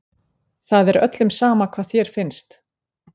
Það er öllum sama hvað þér finnst.